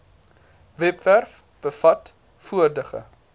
webwerf bevat vorige